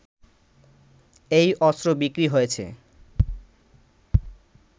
এই অস্ত্র বিক্রি হয়েছে